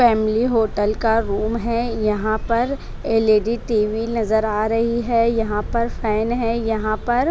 family hotel का room है यहां पर एल_इ_डी टी_वी नजर आ रही है यहां पर फैन है यहां पर--